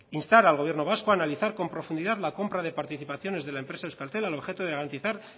instar al gobierno vasca a analizar con profundidad la compra de participaciones de euskaltel al objeto de garantizar